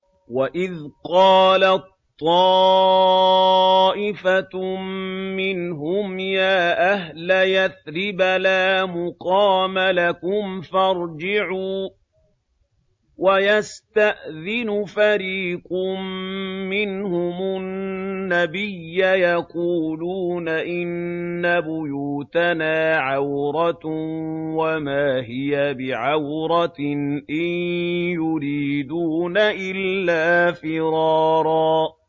وَإِذْ قَالَت طَّائِفَةٌ مِّنْهُمْ يَا أَهْلَ يَثْرِبَ لَا مُقَامَ لَكُمْ فَارْجِعُوا ۚ وَيَسْتَأْذِنُ فَرِيقٌ مِّنْهُمُ النَّبِيَّ يَقُولُونَ إِنَّ بُيُوتَنَا عَوْرَةٌ وَمَا هِيَ بِعَوْرَةٍ ۖ إِن يُرِيدُونَ إِلَّا فِرَارًا